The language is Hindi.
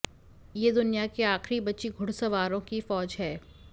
ये दुनिया की आखिरी बची घुड़सवारों की फौज है